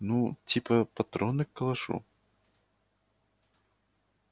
ну типа патроны к калашу